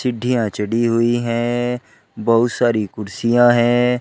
चढ़ी हुई हैं और बहुत सारी कुर्सियां हैं।